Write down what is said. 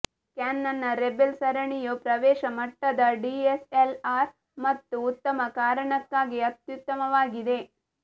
ಕ್ಯಾನನ್ನ rebel ಸರಣಿಯು ಪ್ರವೇಶ ಮಟ್ಟದ ಡಿಎಸ್ಎಲ್ಆರ್ ಮತ್ತು ಉತ್ತಮ ಕಾರಣಕ್ಕಾಗಿ ಅತ್ಯುತ್ತಮವಾಗಿದೆ